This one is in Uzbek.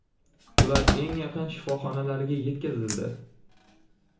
Ular eng yaqin shifoxonalarga yetkazildi.